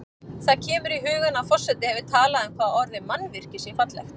Það kemur í hugann að forseti hefur talað um hvað orðið mannvirki sé fallegt.